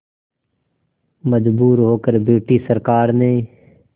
मजबूर होकर ब्रिटिश सरकार ने